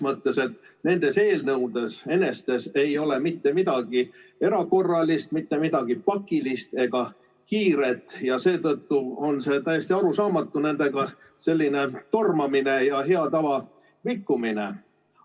Ja nendes eelnõudes enestes ei ole mitte midagi erakorralist, midagi pakilist ega kiiret ja seetõttu on täiesti arusaamatu nendega selline tormamine ja hea tava rikkumine.